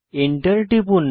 enter টিপুন